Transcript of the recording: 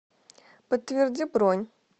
подтверди бронь